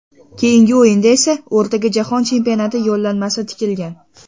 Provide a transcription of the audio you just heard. Keyingi o‘yinda esa o‘rtaga jahon chempionati yo‘llanmasi tikilgan.